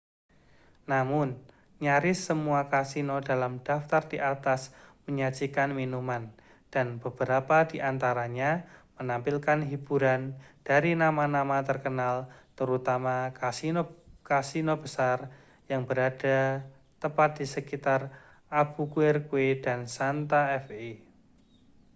namun nyaris semua kasino dalam daftar di atas menyajikan minuman dan beberapa di antaranya menampilkan hiburan dari nama-nama terkenal terutama kasino besar yang berada tepat di sekitar albuquerque dan santa fe